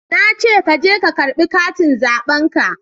Na ce ka je ka karba katin zaben ka